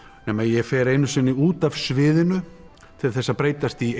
nema ég fer einu sinni út af sviðinu til þess að breytast í